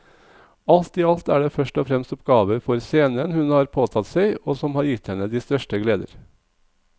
Alt i alt er det først og fremst oppgaver for scenen hun har påtatt seg og som har gitt henne de største gleder.